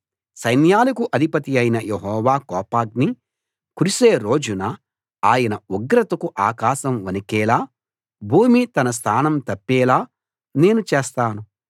సైన్యాలకు అధిపతి అయిన యెహోవా కోపాగ్ని కురిసే రోజున ఆయన ఉగ్రతకు ఆకాశం వణికేలా భూమి తన స్థానం తప్పేలా నేను చేస్తాను